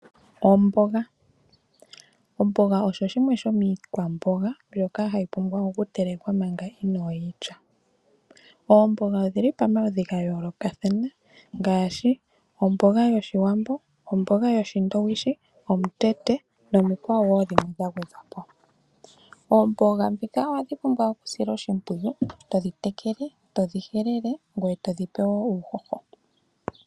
Omboga Omboga osho shimwe shomiikwamboga mbyoka hayi pumbwa oku telekwa manga inooyi lya. Oomboga odhili pamaludhi ga yoolokathana ngaashi: omboga yOshiwambo, omboga yOshindowishi, omutete nomikwawo wo dhimwe dha gwedhwa po. Oomboga ndhika ohadhi pumbwa esiloshimpwiyu to dhi tekele , to dhi helele ngweye to dhi pe wo uuhoho.